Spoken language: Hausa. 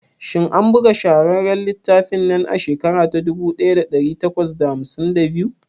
Shin an buga shahararren littafin nan a shekara ta dubu daya da dari takwas da hamsin da biyu?